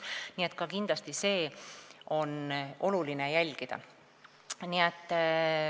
Nii et kindlasti on oluline seda jälgida.